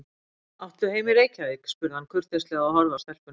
Áttu heima í Reykjavík? spurði hann kurteislega og horfði á stelpuna.